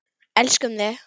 Elskum þig.